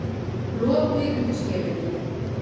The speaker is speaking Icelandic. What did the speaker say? Lopi undir skelinni.